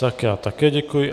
Tak já také děkuji.